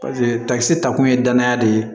takkisɛ ta kun ye danaya de ye